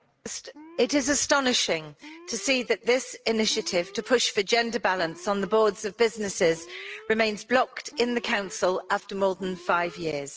Mr President, it is astonishing to see that this initiative to push for gender balance on the boards of businesses remains blocked in the Council after more than five years.